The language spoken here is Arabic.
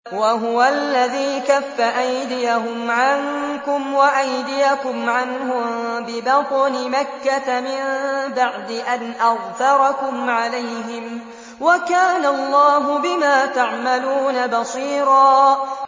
وَهُوَ الَّذِي كَفَّ أَيْدِيَهُمْ عَنكُمْ وَأَيْدِيَكُمْ عَنْهُم بِبَطْنِ مَكَّةَ مِن بَعْدِ أَنْ أَظْفَرَكُمْ عَلَيْهِمْ ۚ وَكَانَ اللَّهُ بِمَا تَعْمَلُونَ بَصِيرًا